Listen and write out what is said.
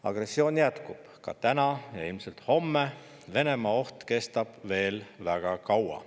Agressioon jätkub täna ja ilmselt ka homme, Venemaa oht kestab veel väga kaua.